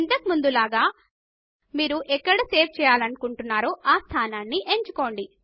ఇంతకు ముందు లాగ మీరు ఎక్కడ సేవ్ చేయాలనుకుంటున్నారో ఆ స్థానాన్ని ఎంచుకోండి